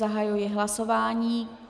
Zahajuji hlasování.